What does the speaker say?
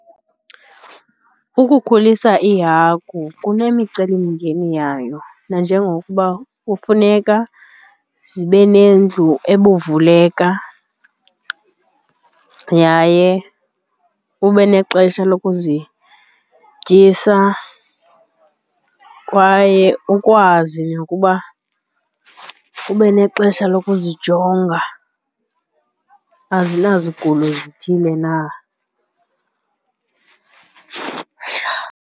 Ukhulisa iihagu kunemicelimngeni yayo nanjengokuba kufuneka zibe nendlu ebuvuleka yaye ube nexesha lokuzityisa kwaye ukwazi nokuba ube nexesha lokuzijonga azinazo sigulo zithile na.